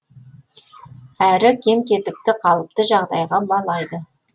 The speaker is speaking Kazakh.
әрі кем кетікті қалыпты жағдайға балайды